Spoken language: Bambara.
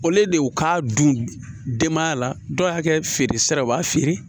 O le y'u k'a don denbaya la dɔw y'a kɛ feere sira ye u b'a feere